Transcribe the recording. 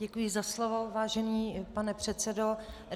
Děkuji za slovo, vážený pane předsedo.